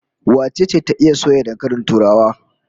Wace ce ta iya soya dankalin turawa?